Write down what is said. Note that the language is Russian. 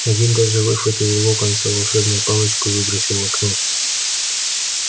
один даже выхватил у локонса волшебную палочку и выбросил в окно